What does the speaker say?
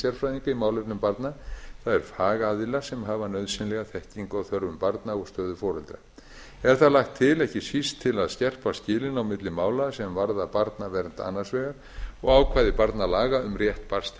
sérfræðinga í málefnum barna það er fagaðila sem hafa nauðsynlega þekkingu á þörfum barna og stöðu foreldra er það lagt til ekki síst til að skerpa skilin á milli mála sem varða barnavernd annars vegar og ákvæði barnalaga um rétt barns til